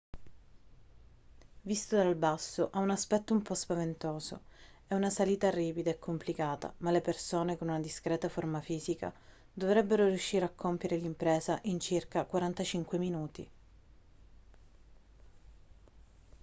visto dal basso ha un aspetto un po' spaventoso è una salita ripida e complicata ma le persone con una discreta forma fisica dovrebbero riuscire a compiere l'impresa in circa 45 minuti